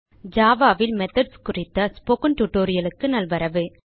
Java ல் methods குறித்த spoken tutorial க்கு நல்வரவு